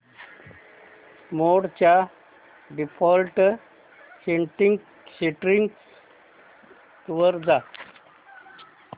मोड च्या default settings वर जा